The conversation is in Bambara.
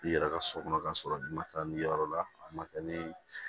I yɛrɛ ka so kɔnɔ ka sɔrɔ i ma taa nin yɔrɔ la a ma taa ni